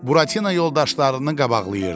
Buratina yoldaşlarını qabaqlayırdı.